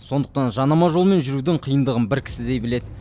сондықтан жанама жолмен жүрудің қиындығын бір кісідей біледі